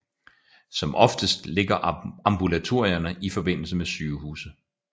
Som oftest ligger ambulatorier i forbindelse med sygehuse